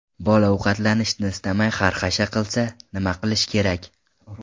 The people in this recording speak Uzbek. Bola ovqatlanishni istamay xarxasha qilsa, nima qilish kerak?.